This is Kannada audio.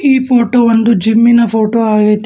ಈ ಫೋಟೋ ಒಂದು ಜಿಮ್ಮಿನ ಫೋಟೋ ಆಗೈತೆ.